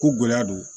Ko gɛlɛya don